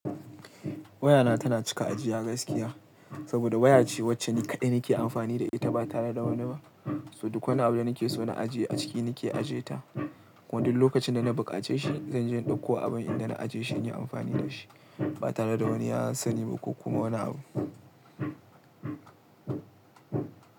Wayana tana cika ajiya gaskiya, saboda waya ce wacce ni kaɗai nake amfani da ita, ba tare da wani ba. So duk wani abu da nake so na ajiye a ciki, nake aje ta. Kuma duk lokacin da na buƙace shi, zanje in ɗauko abin inda na aje shi, in yi amfani da shi ba tare da wani ya sani ba ko kuma wani abu.